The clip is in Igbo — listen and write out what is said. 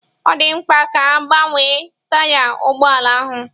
Ọ dị mkpa ka a gbanwee taya ụgbọ ala ahụ.